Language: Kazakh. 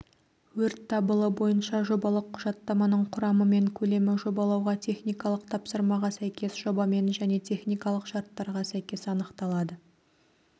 өрт дабылы бойынша жобалық құжаттаманың құрамы мен көлемі жобалауға техникалық тапсырмаға сәйкес жобамен және техникалық шарттарға сәйкес анықталады